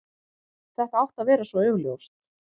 Þetta átti að vera svo augljóst.